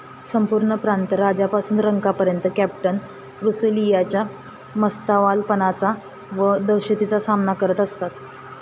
संपूर्ण प्रांत राजापासून रंकापर्यत कॅप्टन रुसेलियाच्या मस्तवालपणाचा व दहशतीचा सामना करत असतात.